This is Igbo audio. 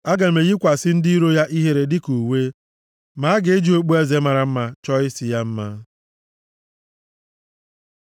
Aga m eyikwasị ndị iro ya ihere dịka uwe ma aga eji okpueze mara mma chọọ isi ya mma.”